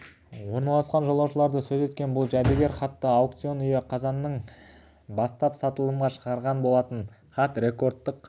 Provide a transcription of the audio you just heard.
орналасқан жолаушыларды сөз еткен бұл жәдігер-хатты аукцион үйі қазанның бастап сатылымға шығарған болатын хат рекордтық